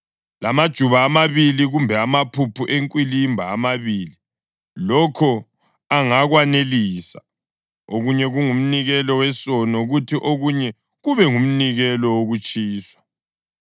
lamajuba amabili kumbe amaphuphu enkwilimba amabili, lokho angakwanelisa, okunye kungumnikelo wesono kuthi okunye kube ngumnikelo wokutshiswa.